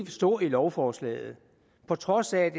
stå i lovforslaget på trods af at